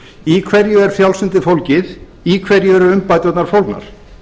í hverju er frjálslyndið fólgið í hverju eru umbæturnar fólgnar